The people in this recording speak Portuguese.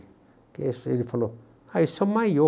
Ele falou, ah, isso é o maiô.